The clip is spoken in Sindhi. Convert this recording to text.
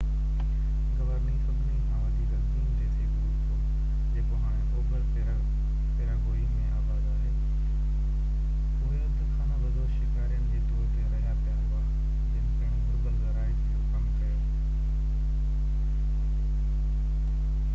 گوارني سڀني کان وڌيڪ عظيم ديسي گروپ هو جيڪو هاڻي اوڀر پيراگوئي ۾ آباد آهي اهي اڌ خانہ بدوش شڪارين جي طور تي رهيا پيا هئا جن پڻ گهربل زراعت جو ڪم ڪيو